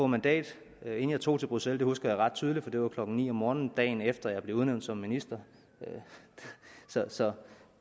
mandat inden jeg tog til bruxelles det husker jeg ret tydeligt for det var klokken ni om morgenen dagen efter jeg blev udnævnt som minister så